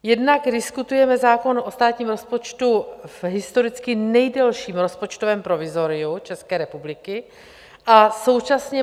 Jednak diskutujeme zákon o státním rozpočtu v historicky nejdelším rozpočtovém provizoriu České republiky a současně